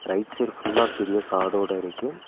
Right side ஃபுல்லா பெரிய காடோட இருக்கு.